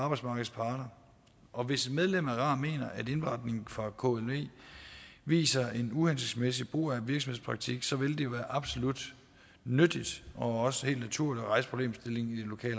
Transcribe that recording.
arbejdsmarkedets parter og hvis et medlem af rar mener at indberetningen fra klv viser en uhensigtsmæssig brug af virksomhedspraktik så vil det jo være absolut nyttigt og også helt naturligt at rejse problemstillingen i det lokale